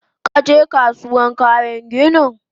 Kaje Kasuwan kayan ginin?